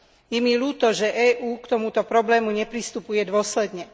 Je mi ľúto, že EÚ k tomuto problému nepristupuje dôsledne.